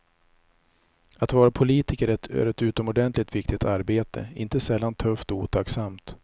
Att vara politiker är ett utomordentligt viktigt arbete, inte sällan tufft och otacksamt.